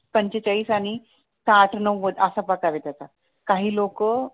पंचेचाळीस आणि साठ नव्वद असा प्रकार आहे त्याचा काही लोक,